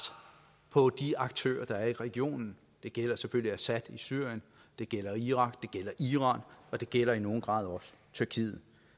på de aktører der er i regionen det gælder selvfølgelig assad i syrien det gælder irak det gælder iran og det gælder i nogen grad også tyrkiet